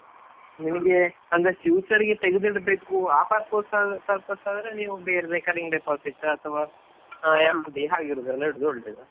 ನಿಮಗೆ ಅಂದ್ರೆ future ಗೆ ತೆಗೆದು ಇಡ್ಬೇಕು ಆ purpose ಗೆ ಆದ್ರೆ ನೀವ್ recurring deposit ಅಥವಾ FD ಹಾಗೆ ಇರುದ್ರಲ್ಲಿ ಇಡುದು ಒಳ್ಳೇದು.